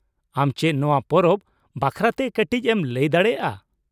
ᱟᱢ ᱪᱮᱫ ᱱᱚᱶᱟ ᱯᱚᱨᱚᱵᱽ ᱵᱟᱠᱷᱨᱟᱛᱮ ᱠᱟᱹᱴᱤᱡ ᱮᱢ ᱞᱟᱹᱭ ᱫᱟᱲᱮᱭᱟᱜᱼᱟ ?